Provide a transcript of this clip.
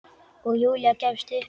Og Júlía gefst upp.